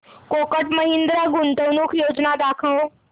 कोटक महिंद्रा गुंतवणूक योजना दाखव